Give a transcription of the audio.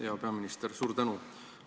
Hea peaminister, suur tänu!